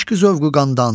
eşq zövqü qandan.